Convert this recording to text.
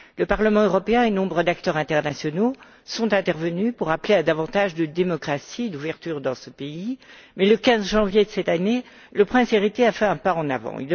Le Parlement européen et nombre d'acteurs internationaux sont intervenus pour appeler à davantage de démocratie et d'ouverture dans ce pays, mais le 15 janvier de cette année, le prince héritier a fait un pas en avant.